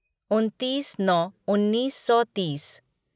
उनतीस नौ उन्नीस सौ तीस